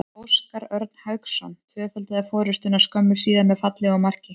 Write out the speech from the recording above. Óskar Örn Hauksson tvöfaldaði forystuna skömmu síðar með fallegu marki.